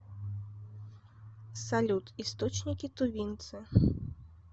салют источники тувинцы